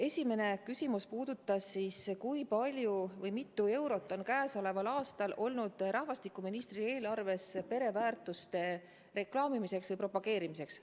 Esimene küsimus oli siis, kui palju raha, mitu eurot on käesoleval aastal olnud rahvastikuministri eelarves pereväärtuste reklaamimiseks või propageerimiseks.